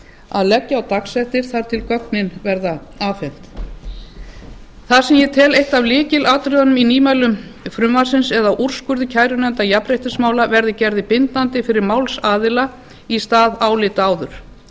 að leggja á dagsektir þar til gögnin verða afhent það sem ég tel eitt af lykilatriðunum í nýmælum frumvarpsins er að úrskurðir kærunefndar jafnréttismála verði gerðir bindandi fyrir málsaðila í stað álita áður